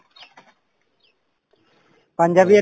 পাঞ্জাৱী এটা